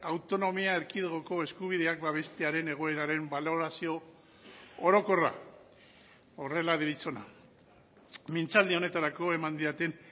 autonomia erkidegoko eskubideak babestearen egoeraren balorazio orokorra horrela deritzona mintzaldi honetarako eman didaten